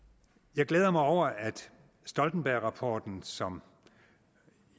jeg glæder mig over at stoltenbergrapporten som